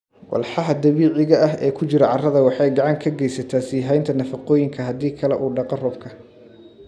Walxaha dabiiciga ah ee ku jira carrada waxay gacan ka geysataa sii haynta nafaqooyinka haddii kale uu dhaqo roobka.